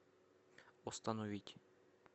остановить